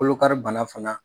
Kolo kari bana fana